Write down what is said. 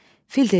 Fil dedi: